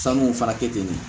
Sanu fana kɛ ten